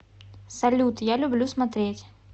салют я люблю смотреть